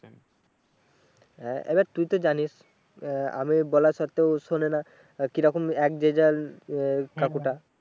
আহ এবার তুইতো জানিস আহ আমি বলা সত্ত্বেও শোনেনা কিরকম এক যে যার কাকুটা